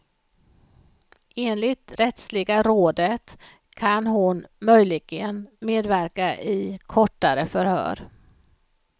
Enligt rättsliga rådet kan hon möjligen medverka i kortare förhör.